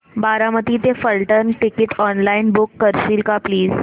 बारामती ते Phaltan ticket online book करशील का प्लीज